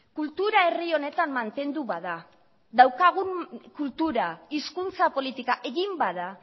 kultura herri honetan mantendu bada daukagun kultura hizkuntza politika egin bada